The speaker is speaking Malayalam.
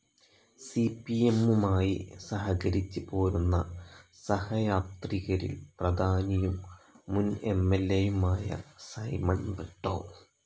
സി പി എം മുമായി സഹകരിച്ച് പോരുന്ന സഹയാത്രികരിൽ പ്രധാനിയും മുൻ എം ൽ എ യും ആയ സൈമൺ ബ്രിട്ടോ